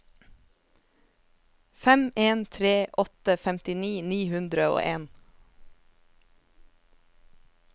fem en tre åtte femtini ni hundre og en